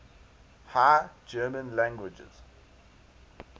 high german languages